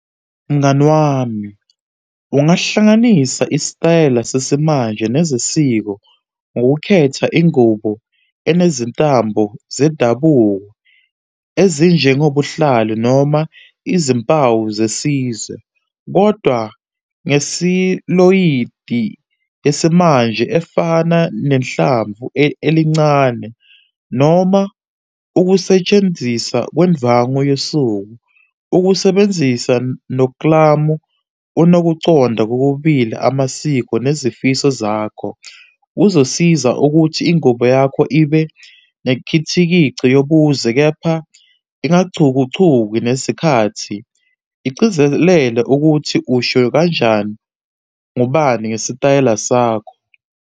Mngani wami, ungahlanganisa isitayela sesimanje nezesiko ngokukhetha ingubo enezintambo zedabuko ezinjengobuhlalu noma izimpawu zesizwe. Kodwa ngesiloyidi yesimanje efana nezinhlamvu elincane, noma ukusetshenziswa kwendvwangu yosuku. Ukusebenzisa noklamu unokuconda kokubili amasiko nezifiso zakho. Uzosiza ukuthi ingubo yakho ibe nekhithikici yobuzwe, kepha ingachukuchuki nesikhathi, igcizelela ukuthi usho kanjani ngobani ngesitayela sakho.